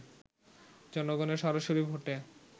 জনগণের সরাসরি ভোটে